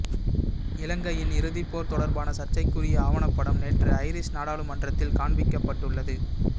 இலங்கையின் இறுதிப்போர் தொடர்பான சர்ச்சைக்குரிய ஆவணப்படம் நேற்று ஐரிஷ் நாடாளுமன்றத்தில் காண்பிக்கப்பட்டுள்ளது